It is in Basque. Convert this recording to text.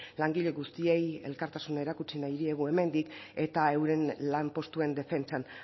langile guztiei elkartasuna erakutsi nahi diegu hemendik eta euren lanpostuen defentsan